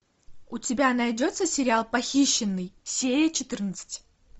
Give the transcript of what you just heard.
у тебя найдется сериал похищенный серия четырнадцать